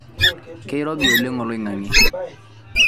keirobi oleng oliong'ang'e